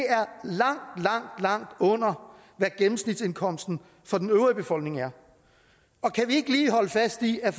langt langt under hvad gennemsnitsindkomsten for den øvrige befolkning er og kan vi ikke lige holde fast i at